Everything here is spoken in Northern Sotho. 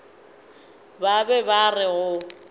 ba be ba re go